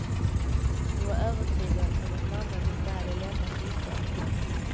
Hon var övertygad om att mamman inte hade lämnat bostaden.